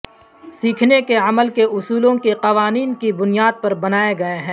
سیکھنے کے عمل کے اصولوں کے قوانین کی بنیاد پر بنائے گئے ہیں